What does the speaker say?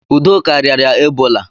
Udoka riara Ebola